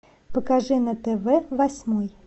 покажи на тв восьмой